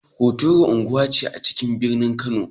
Hotoro unguwa ce a cikin birnin Kano.